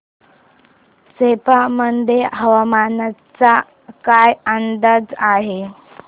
सेप्पा मध्ये हवामानाचा काय अंदाज आहे